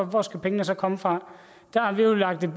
hvor skal pengene så komme fra der har vi jo lagt et